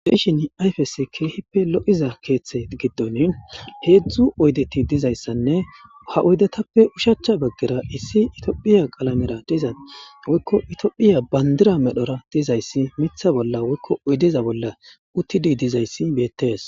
Beishin ayfes kehippe lo7iza keeththe giddon heedzdzu oydeti dizayssanne ha oydetappe ushachcha baggera issi itophiya qalamera diza woykko itophiya bandira medhora dizayssi mitha bolla woykko oydeza bolla uttidi dizayssi beettees.